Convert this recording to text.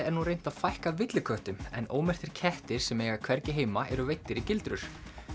er nú reynt að fækka villiköttum en ómerktir kettir sem eiga hvergi heima eru veiddir í gildrur